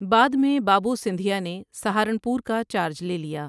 بعد میں بابوسندھیا نے سہارنپور کا چارج لے لیا۔